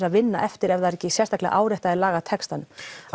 að vinna eftir ef það er ekki sérstaklega áréttað í lagatextanum